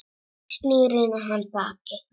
Snýr í hann baki.